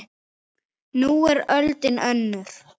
Nú er öldin önnur.